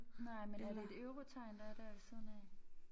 Nej men er det et eurotegn der er dér ved siden af?